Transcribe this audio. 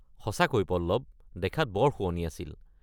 সঁচাকৈ পল্লৱ! দেখাত বৰ শুৱনি আছিল।